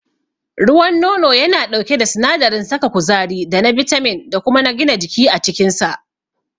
Ruwan nono yana ɗauke da sinadarin saka kuzari da na bitamin da kuma na gina jiki a cikinsa.